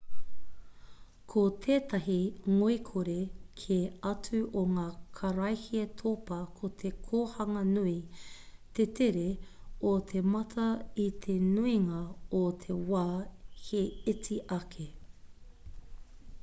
ko tētahi ngoikore kē atu o ngā karaehe topa ko te kohanga nui te tere o te mata i te nuinga o te wā he iti ake